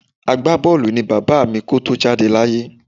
Agbábọ́ọ̀lù ni bàbá mi kó tó jáde láyé